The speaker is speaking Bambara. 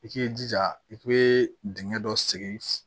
I k'i jija i k'i dingɛ dɔ segin